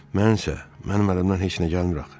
Mən isə, mənim əlimdən heç nə gəlmir axı.